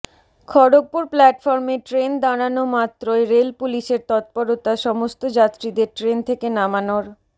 খড়্গপুর প্ল্যাটফর্মে ট্রেন দাঁড়ানো মাত্রই রেল পুলিশের তৎপরতা সমস্ত যাত্রীদের ট্রেন থেকে নামানোর